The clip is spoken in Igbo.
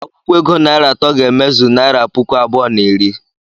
Akwụkwo ego naịra atọ ga-emezu naịra puku abụọ na iri.